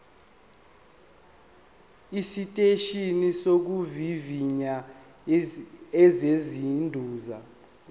esiteshini sokuvivinya esiseduze